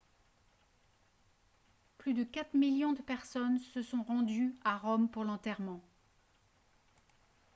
plus de 4 000 000 personnes sont se sont rendues à rome pour l'enterrement